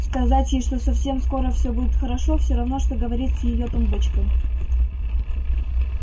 сказать ей что совсем скоро всё будет хорошо всё равно что говорить с её тумбочкой